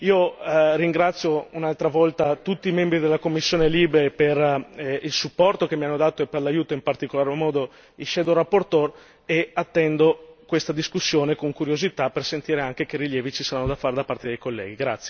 Io ringrazio un'altra volta tutti i membri della commissione LIBE per il supporto che mi hanno dato e per l'aiuto in particolar modo i relatori ombra e attendo questa discussione con curiosità per sentire anche che rilievi ci saranno da fare da parte dei colleghi.